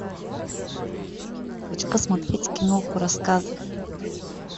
хочу посмотреть киноху рассказы